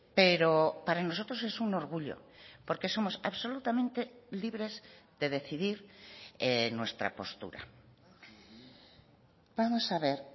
pero para nosotros es un orgullo porque somos absolutamente libres de decidir nuestra postura vamos a ver